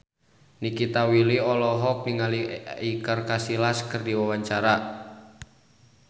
Nikita Willy olohok ningali Iker Casillas keur diwawancara